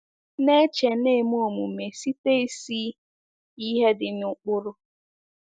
Na-eche na-eme Omume site isi ihe dị n'ụkpụrụ.